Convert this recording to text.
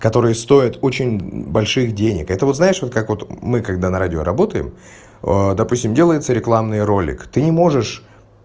которые стоят очень больших денег это вот знаешь вот как вот мы когда на радио работаем допустим делается рекламный ролик ты не можешь